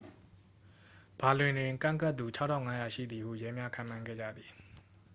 ဘာလင်တွင် ကန့်ကွက်သူ 6,500 ရှိသည်ဟု ရဲများ ခန့်မှန်းခဲ့ကြသည်